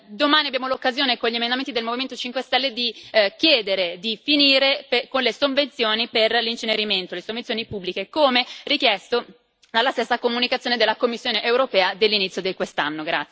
Domani abbiamo l'occasione, con gli emendamenti del Movimento 5 Stelle, di chiedere di mettere fine alle sovvenzioni per l'incenerimento, alle sovvenzioni pubbliche, come richiesto dalla stessa comunicazione della Commissione europea dell'inizio di quest'anno.